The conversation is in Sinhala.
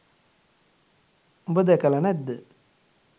උඹ දැකලා නැද්ද